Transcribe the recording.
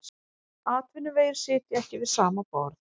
Atvinnuvegir sitja ekki við sama borð